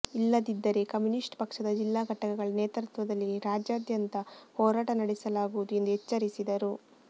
ಇಲ್ಲದಿದ್ದರೆ ಕಮ್ಯುನಿಸ್ಟ್ ಪಕ್ಷದ ಜಿಲ್ಲಾ ಘಟಕಗಳ ನೇತೃತ್ವದಲ್ಲಿ ರಾಜ್ಯಾದ್ಯಂತ ಹೋರಾಟ ನಡೆಸಲಾಗುವುದು ಎಂದು ಎಚ್ಚರಿಸಿದರು